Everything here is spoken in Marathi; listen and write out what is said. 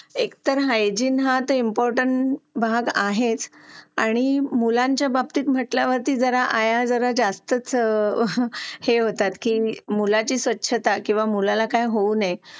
लेट होतं सर्दी खोकला हा एक वाढलं आहे. एका मुलाला क्लास पूर्ण क्लास त्याच्यामध्ये वाहून निघत निघत असतो असं म्हणायला हरकत नाही. हो डेंग्यू, मलेरिया यासारखे आजार पण ना म्हणजे लसीकरण आहे. पूर्ण केले तर मला नाही वाटत आहे रोप असू शकतेपुडी लसीकरणाबाबत थोडं पालकांनी लक्ष दिलं पाहिजे की आपला मुलगा या वयात आलेला आहे. आता त्याच्या कोणत्या लसी राहिलेले आहेत का?